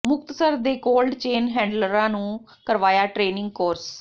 ਮੁਕਤਸਰ ਦੇ cold chain ਹੈਂਡਲਰਾਂ ਨੂੰ ਕਰਵਾਇਆ ਟੇ੍ਨਿੰਗ ਕੋਰਸ